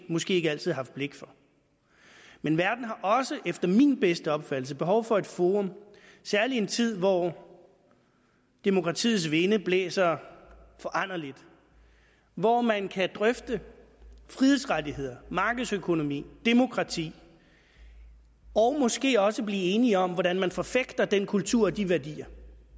måske ikke altid haft blik for men verden har også efter min bedste opfattelse behov for et forum særlig i en tid hvor demokratiets vinde blæser foranderligt hvor man kan drøfte frihedsrettigheder markedsøkonomi og demokrati og måske også blive enige om hvordan man forfægter den kultur og de værdier